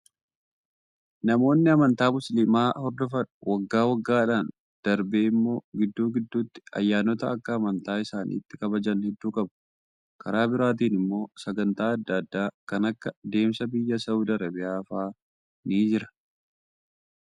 Namoonni amantaa musliimaa hordofan waggaa waggaadhaan darbee immoo gidduu gidduutti ayyaanota akka amantaa isaaniitti kabajan hedduu qabu. Karaa biraatiin immoo sagantaa adda addaa kan akka deemsa biyya Saawud Arabiyaa fa'aa ni jira.